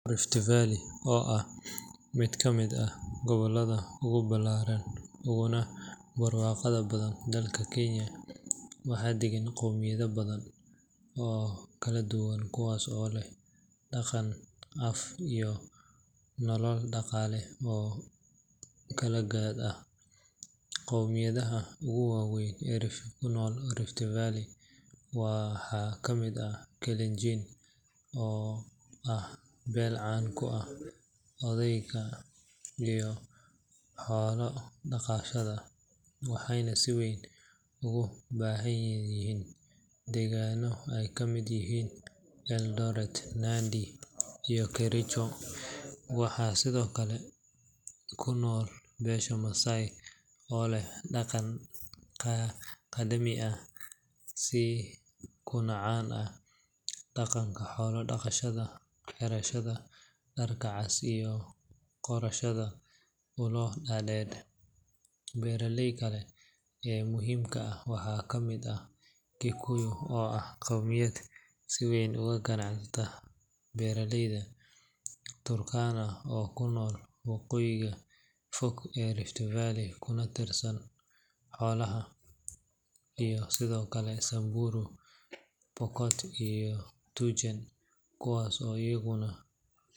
Rift Valley oo ah mid ka mid ah gobollada ugu ballaaran uguna barwaaqada badan dalka Kenya, waxaa deggan qowmiyado badan oo kala duwan kuwaas oo leh dhaqan, af, iyo nolol dhaqaale oo kala jaad ah. Qowmiyadaha ugu waaweyn ee ku nool Rift Valley waxaa ka mid ah Kalenjin, oo ah beel caan ku ah orodka iyo xoolo dhaqashada, waxayna si weyn ugu badan yihiin deegaanno ay ka mid yihiin Eldoret, Nandi, iyo Kericho. Waxaa sidoo kale ku nool beesha Maasai, oo leh dhaqan qadiimi ah kuna caan ah dhaqanka xoolo-dhaqashada, xirashada dharka cas iyo qorashada ulo dhaadheer. Beelaha kale ee muhiimka ah waxaa ka mid ah Kikuyu oo ah qowmiyad si weyn uga ganacsata beeralayda, Turkana oo ku nool waqooyiga fog ee Rift Valley kuna tiirsan xoolaha, iyo sidoo kale Samburu, Pokot, iyo Tugen kuwaas oo iyaguna.